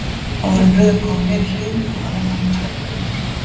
Áður en röðin kom að mér í hliðinu fóru að renna á mig tvær grímur.